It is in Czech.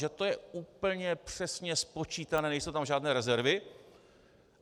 Že to je úplně přesně spočítané, nejsou tam žádné rezervy.